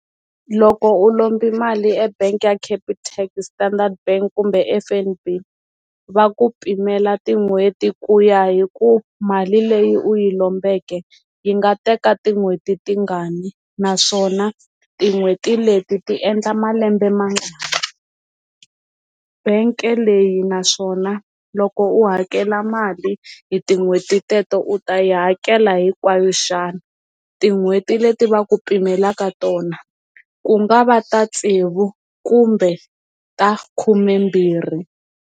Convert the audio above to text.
Loko u lombi mali e bank ya Capitec, Standard bank kumbe F_N_B va ku pimela tin'hweti ku ya hi ku mali leyi u yi lombeke yi nga teka tinhweti tingani naswona tin'hweti leti ti endla malembe mangani bangi leyi naswona loko u hakela mali hi tin'hweti teto u ta yi hakela hinkwayo xana tin'hweti leti va ku pimela eka tona ku nga va ta tsevu kumbe ta khumembirhi.